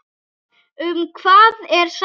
Um hvað er sagan?